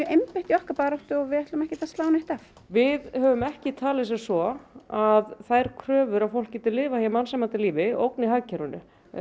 einbeitt í okkar baráttu og við ætlum ekki að slá neitt af við höfum ekki talið sem svo að þær kröfur að fólk geti lifað hér mannsæmandi lífi ógni hagkerfinu